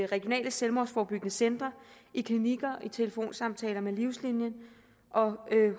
regionale selvmordsforebyggende centre i klinikker i telefonsamtaler med livslinien og